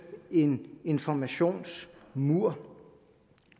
en informationsmur